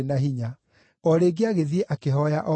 O rĩngĩ agĩthiĩ akĩhooya o ũguo.